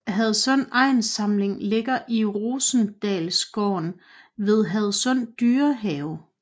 Hadsund Egnssamling ligger i Rosendalsgården ved Hadsund Dyrehave